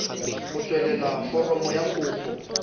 go tsweletsa foromo ya kopo